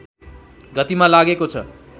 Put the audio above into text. गतिमा लागेको छ